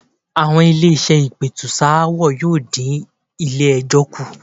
Àwọn ilé-iṣẹ́ ìpètùsááwọ̀ yóò dí iṣẹ́ ilé-ẹjọ́ kù.